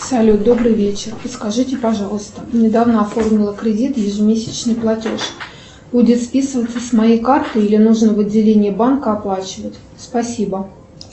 салют добрый вечер подскажите пожалуйста недавно оформила кредит ежемесячный платеж будет списываться с моей карты или нужно в отделении банка оплачивать спасибо